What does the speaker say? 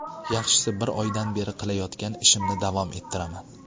Yaxshisi bir oydan beri qilayotgan ishimni davom ettiraman.